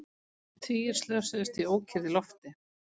Tugir slösuðust í ókyrrð í lofti